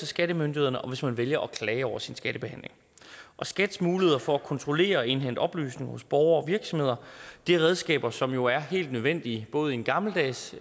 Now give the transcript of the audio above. skattemyndighederne og hvis man vælger at klage over sin skattebehandling og skats muligheder for at kontrollere og indhente oplysninger hos borgere og virksomheder er redskaber som jo er helt nødvendige både i en gammeldags